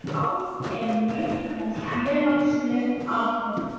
Át er nautn og félagsleg athöfn.